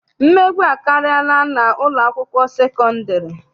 Mmegbu akarịala n'ụlọakwụkwọ sekọndịrị.